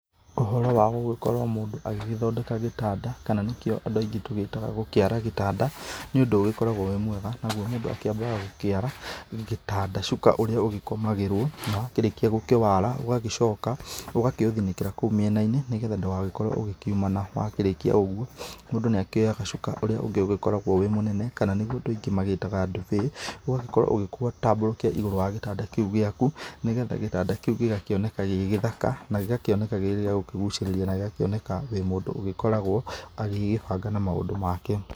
Ũhoro wagũgĩkorwo mũndũ agĩgĩthondeka gĩtanda kana nĩkĩo andũ aingĩ tũgĩtaga gũkĩara gĩtanda nĩ ũndũ ũgĩkoragwo wĩ mwega nagũo mũndũ akĩambaga gũkĩara gĩtanda cuka ũrĩa ũgĩkomagĩrwo na warĩkĩa gũkĩ wara ũgagĩcoka ũgakĩũthinĩkĩra kũu mĩena-inĩ nĩgetha ndũgagĩkorwo ũkĩumana wakĩrĩkia ũgũo mũndũ nĩ akĩoyaga cuka ũríĩ ũngĩ ũgĩkoragwo mũnene kana nĩgũo andũ aingĩ mawĩtaga ndubĩ, ũgagĩkorwo ũkĩũtambũrũkia ĩgũrũ wa gĩtanda kĩu gĩaku nĩgetha gĩtanda kĩu gĩgakĩoneka gĩ gĩthaka na gĩgakĩoneka gĩkĩrĩ gia kũgũcĩrĩria na gĩgakĩoneka wĩ mũndũ ũgĩkoragwo agĩgĩbanga na maũndũ make.